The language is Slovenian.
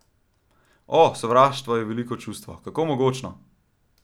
O, sovraštvo je veliko čustvo, kako mogočno!